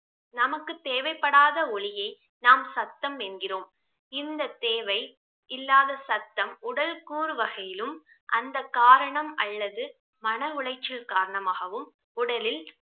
நமக்கு தேவைப்படாத ஒலியை நாம் சத்தம் என்கிறோம் இந்த தேவை இல்லாத சத்தம் உடல் கூறு வகையிலும் அந்த காரணம் அல்லது மன உளைச்சல் காரணமாகவும் உடலில்